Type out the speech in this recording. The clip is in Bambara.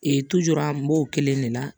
n b'o kelen de la